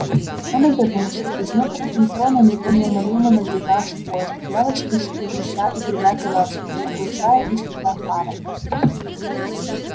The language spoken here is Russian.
он обернулся из недр метро на него неумолимо надвигался поезд дьявольски скрежеща и гремя колёсами оглушая и слепя фарами